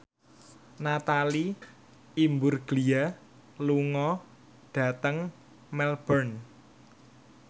Natalie Imbruglia lunga dhateng Melbourne